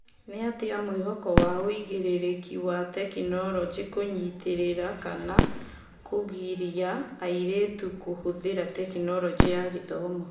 Nĩatĩa mwĩhoko wa ũigĩrĩrĩki wa tekinoronjĩ kũnyitĩrĩra kana kũgiria airĩtu kũhũthĩra Tekinoronjĩ ya Githomo?